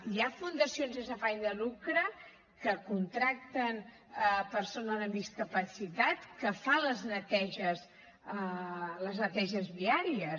hi ha fundacions sense afany de lucre que contracten persones amb discapacitat que fan les neteges viàries